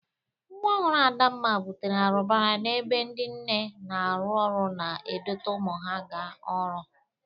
Nwa ọhụrụ Adamma bụtere arụbara n'ebe ndị nne na-arụ ọrụ na-edote ụmụ ha ga ọrụ.